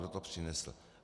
Kdo to přinesl?